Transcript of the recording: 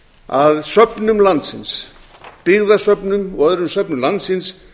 að söfnum landsins byggðasöfnum og öðrum söfnum landsins